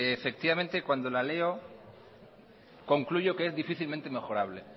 cuando la leo concluyo que es difícilmente mejorable